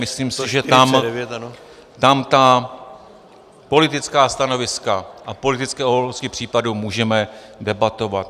Myslím si, že tam ta politická stanoviska a politické okolnosti případu můžeme debatovat.